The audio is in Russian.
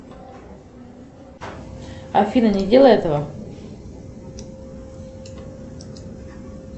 афина не делай этого